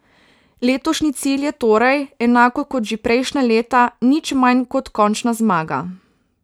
Letošnji cilj je torej, enako kot že prejšnja leta, nič manj kot končna zmaga.